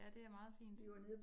Ja det er meget fint